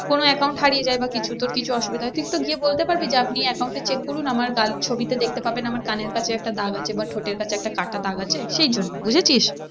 কোনো account হারিয়ে যায় বা কিছু তোর কিছু অসুবিধা হয় তুই তো গিয়ে বলতে পারবি যে আপনি এই account টা check করুন আমার ছবিতে দেখতে পাবেন আমার কানের কাছে একটা দাগ আছে বা ঠোঁটের কাছে একটা কাটা দাগ আছে সেই জন্য বুঝেছিস?